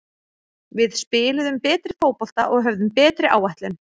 Við spiluðum betri fótbolta og höfðum betri áætlun.